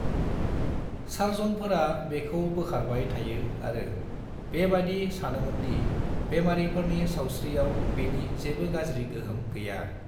सार्जनफोरा बेखौ बोखारबाय थायो आरो बेबादि सानोमोन्दि बेमारिफोरनि सावस्रियाव बेनि जेबो गाज्रि गोहोम गैया।